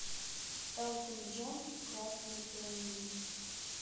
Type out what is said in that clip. элтон джон красное пианино